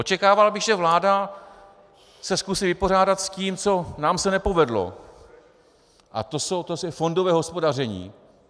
Očekával bych, že vláda se zkusí vypořádat s tím, co nám se nepovedlo, a to je fondové hospodaření.